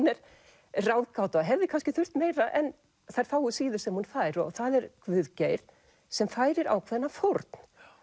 er ráðgáta og hefði kannski þurft meira en þær fáu síður sem hún fær og það er Guðgeir sem færir ákveðna fórn